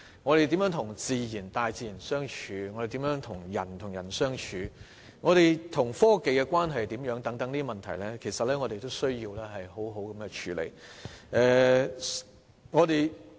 我們如何與大自然相處、人與人之間如何相處、我們與科技的關係如何等問題，其實要好好處理。